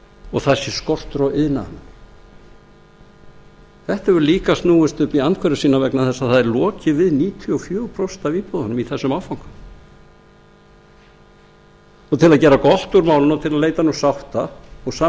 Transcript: og það sé skortur á iðnaðarmönnum þetta hefur líka snúist upp í andhverfu sína vegna þess að það er lokið við níutíu og fjögur prósent af íbúðunum í þessum áfanga til að gera gott úr málinu og til að leita nú sátta og